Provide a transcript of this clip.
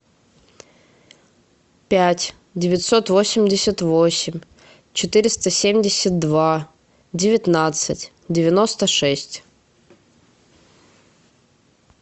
пять девятьсот восемьдесят восемь четыреста семьдесят два девятнадцать девяносто шесть